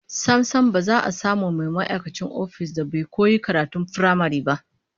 Sam sam, ba za a samu mai ma'aikacin ofis da ba yi ko karatun firamare ba